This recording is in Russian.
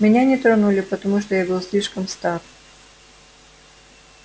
меня не тронули потому что я был слишком стар